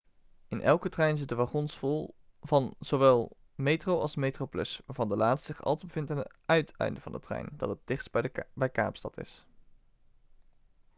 in elke trein zitten wagons van zowel metro als metroplus waarvan de laatste zich altijd bevindt aan het uiteinde van de trein dat het dichtst bij kaapstad is